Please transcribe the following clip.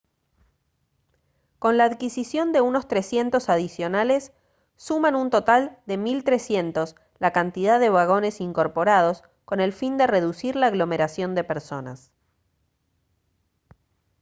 con la adquisición de unos 300 adicionales suman un total de 1300 la cantidad de vagones incorporados con el fin de reducir la aglomeración de personas